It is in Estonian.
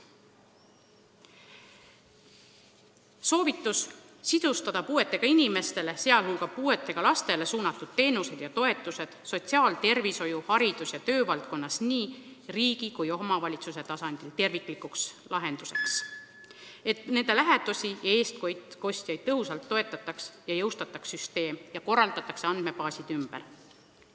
Soovitus: siduda puuetega inimestele, sh puuetega lastele suunatud teenused ja toetused sotsiaal-, tervishoiu-, haridus- ja töövaldkonnas nii riigi kui ka kohaliku omavalitsuse tasandil terviklikuks lahenduseks, et nende lähedasi ja eestkostjaid tõhusalt toetataks, jõustataks süsteem ning korraldataks andmebaasid ümber.